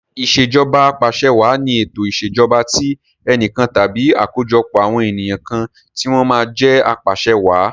Ìṣèjọba Apàṣẹwàá ni ètò ìṣèjọba tí enìkan tàbí àkójọpọ̀ àwọn ènìyàn kan tí wọ́n máa jẹ apàṣe wàá.